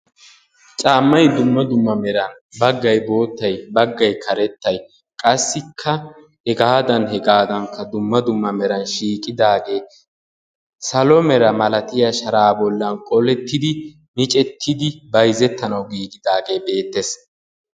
Caammay dumma dumma meran baggay boottay, baggay karettay qassikka, hegaadan hegaadankka dumma dumma meray shiiqqidaagee salo mera malatiya sharaa bollan qolettidi miccettidi bayzzettanawu giigidaagee beettees.